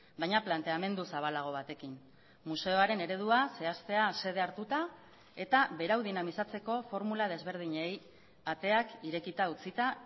baina planteamendu zabalago batekin museoaren eredua zehaztea xede hartuta eta berau dinamizatzeko formula desberdinei ateak irekita utzita